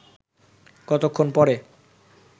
কতক্ষণ পরে